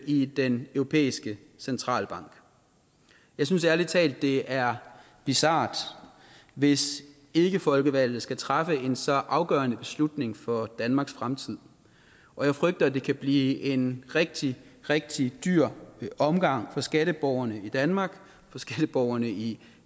i den europæiske centralbank jeg synes ærlig talt det er bizart hvis ikkefolkevalgte skal træffe en så afgørende beslutning for danmarks fremtid og jeg frygter at det kan blive en rigtig rigtig dyr omgang for skatteborgerne i danmark og for skatteborgerne i